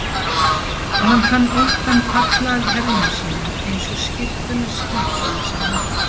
Og hann fann óttann falla af herðum sínum eins og skyrtuna skítugu sem hann bar.